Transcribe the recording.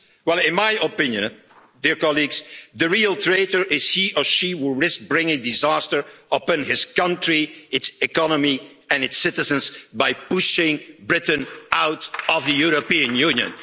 Well in my opinion, the real traitor is he or she who will risk bringing disaster upon his country, its economy and its citizens by pushing Britain out of the European Union.